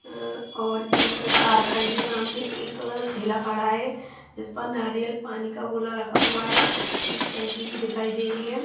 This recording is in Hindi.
और एक कार खड़ी है सामने एक ठेला खड़ा है इस पर नारियल पानी का गोला रखा हुआ है एक टंकी भी दिखाई दे रही है।